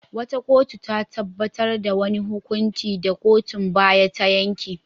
Wata kotu ta tabbatar da wani hukuncin da kotun baya ta yanke.